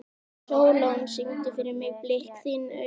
Sólon, syngdu fyrir mig „Blik þinna augna“.